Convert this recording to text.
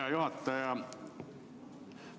Hea juhataja!